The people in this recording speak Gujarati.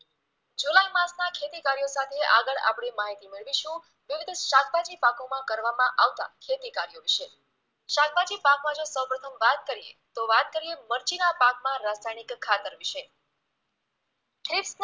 માં ખેતીકાર્યો સાથે આગળ આપણે માહિતી મેળવીશું શાકભાજી પાકોમાં કરવામાં આવતા ખેતીકાર્યો વિશે શાકભાજી પાકમાઅં જો સૌપ્રથમ વાત કરીએ તો વાત કરીએ મરચીના પાકમાં રાસાયણિક ખાતર વિશે ખીત